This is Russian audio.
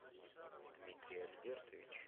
дмитрий альбертович